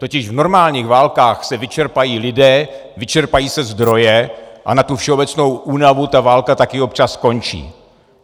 Totiž v normálních válkách se vyčerpají lidé, vyčerpají se zdroje a na tu všeobecnou únavu ta válka taky občas skončí.